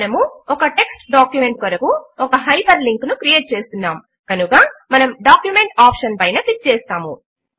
మనము ఒక text document కొరకు ఒక హైపర్ లింక్ ను క్రియేట్ చేస్తున్నాము కనుక మనము డాక్యుమెంట్ ఆప్షన్ పైన క్లిక్ చేస్తాము